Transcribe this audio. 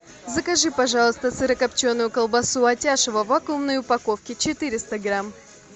закажи пожалуйста сырокопченую колбасу атяшево в вакуумной упаковке четыреста грамм